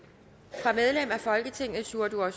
fra medlem af folketinget sjúrður